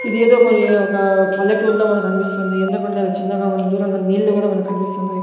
ఇది ఏదో పోయి ఒక పల్లెటూర్లో మనకనిపిస్తుంది ఎందుకంటే అవి చిన్నగా మనం దూరంగా నీళ్లు కూడా మనకు కనిపిస్తున్నది.